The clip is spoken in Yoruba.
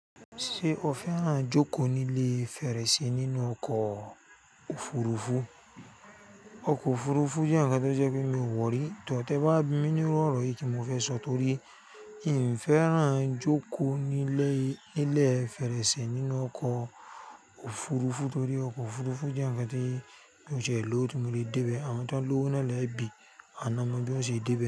Ṣé o fẹ́ràn jókòó ní ilé fèrèsé nínú ọkọ̀ òfurufú? Ọkọ̀ òfurufú jẹ́ ǹkan tó jẹ́ pé mi ò wọ̀ rí, tọ̀ tẹ́ bá bi mí níru órò yìí kí mo fẹ sọ torí ì ń fẹ́ràn jókòó nílé, nílé fèrèsé nínú ọkọ̀ òfurufú torí ọkọ̀ òfurufú jẹ́ ǹkan tí mi ò tie lowo, tí mo le dé bẹ. Àwọn tó ń lówó na lẹ̀ bí, awọn na ma bí wọ́n ṣe dé bẹ.